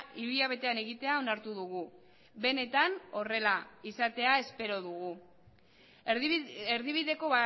hilabetean egitea onartu dugu benetan horrela izatea espero dugu erdibideko